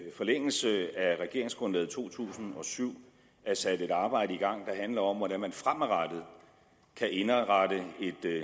i forlængelse af regeringsgrundlaget to tusind og syv er sat et arbejde i gang der handler om hvordan man fremadrettet kan indrette